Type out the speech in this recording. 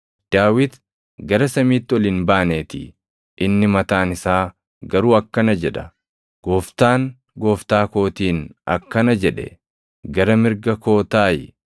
Daawit gara samiitti ol hin baaneetii; inni mataan isaa garuu akkana jedha: “ ‘Gooftaan Gooftaa kootiin akkana jedhe; “Gara mirga koo taaʼi;